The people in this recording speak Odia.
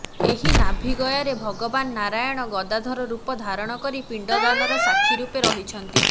ଏହି ନାଭିଗୟାରେ ଭଗବାନ ନାରାୟଣ ଗଦାଧର ରୂପ ଧାରଣ କରି ପିଣ୍ଡଦାନର ସାକ୍ଷୀ ରୂପେ ରହିଛନ୍ତି